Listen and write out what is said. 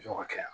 Jɔyɔrɔ kɛra yan